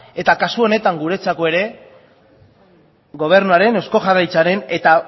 eta kasu honetan guretzat ere gobernuaren eusko jaurlaritzaren eta